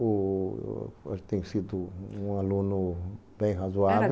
O eu tenho sido um aluno bem razoável.